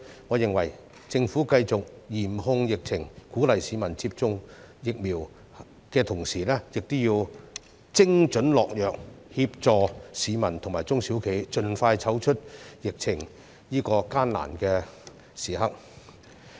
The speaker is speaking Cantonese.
我認為政府應繼續嚴控疫情，鼓勵市民接種疫苗，同時亦要精準下藥，協助市民和中小型企業盡快走出疫情的艱難時刻。